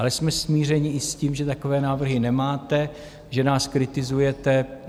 Ale jsme smířeni i s tím, že takové návrhy nemáte, že nás kritizujete.